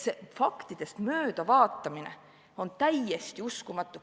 See faktidest möödavaatamine on täiesti uskumatu.